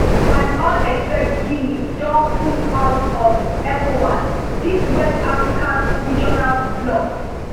and all except guinea don pull out of ecowas di west african regional bloc